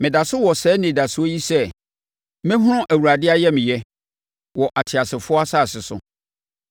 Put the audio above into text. Meda so wɔ saa anidasoɔ yi sɛ: mɛhunu Awurade ayamyɛ wɔ ateasefoɔ asase so.